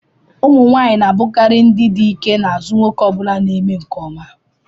ụmụ nwanyị na-abụkarị ndị dike n'azụ nwoke ọ bụla na-eme nke ọma